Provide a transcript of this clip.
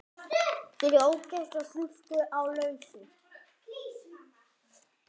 Fyrir ógifta stúlku á lausu.